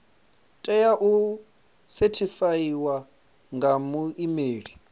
tea u sethifaiwa nga muimeli